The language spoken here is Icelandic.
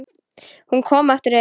Hún kom aftur inn